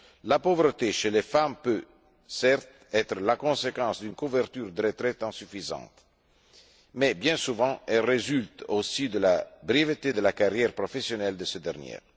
La pauvreté, chez les femmes, peut certes être la conséquence d'une couverture de retraite insuffisante, mais, bien souvent, elle résulte aussi de la brièveté de la carrière professionnelle de ces dernières.